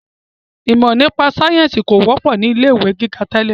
Ìmọ nípa sayẹ́nsi kò wọ́pọ̀ ni ilé ìwé gíga tẹ́lẹ̀